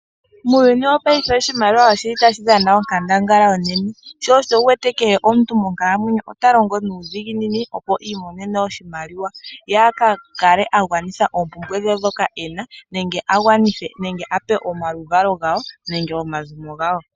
Muuyuni wopayife oshimaliwa otashi dhana onkandangala onene. Sho osho wu wete kehe omuntu monkalamwenyo ota longo nuudhiginini opo i imonene oshimaliwa, ye a ka kale a gwanitha oompumbwe dhe ndhoka e na, nenge a pe oluvalo lwe, nenge ezimo lye.